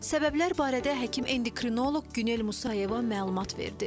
Səbəblər barədə həkim endokrinoloq Günel Musayeva məlumat verdi.